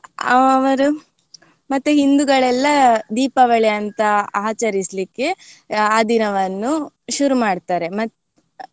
ಅವರು ಮತ್ತೆ ಹಿಂದೂಗಳೆಲ್ಲ ದೀಪಾವಳಿ ಅಂತ ಆಚರಿಸ್ಲಿಕ್ಕೆ ಆ ದಿನವನ್ನು ಶುರು ಮಾಡ್ತಾರೆ ಮತ್ತ್